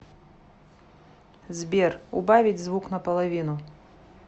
сбер убавить звук на половину